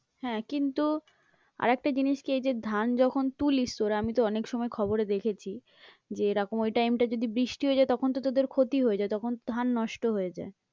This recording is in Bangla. হ্যাঁ, কিন্তু আর একটা জিনিস কি এই যে ধান যখন তুলিস তোরা আমি তো অনেক সময় খবরে দেখেছি যে এরকম ওই time টা যদি বৃষ্টি হয়ে যায় তখন তো তোদের ক্ষতি হয়ে যায়, তখন তো ধান নষ্ট হয়ে যায়।